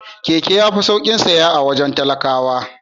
Keke yafi saukin saya a wajen talakawa.